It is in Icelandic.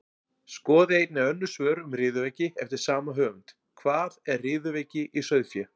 Skoðið einnig önnur svör um riðuveiki eftir sama höfund: Hvað er riðuveiki í sauðfé?